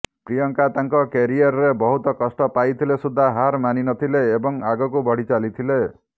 ପ୍ରିୟଙ୍କା ତାଙ୍କ କ୍ୟାରିୟରରେ ବହୁତ କଷ୍ଟ ପାଇଥିଲେ ସୁଦ୍ଧା ହାର ମାନିନଥିଲେ ଏବଂ ଆଗକୁ ବଢି ଚାଲିଥିଲେ